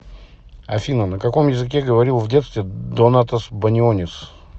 афина на каком языке говорил в детстве донатас банионис